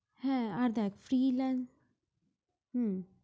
হ্যাঁ other freelancer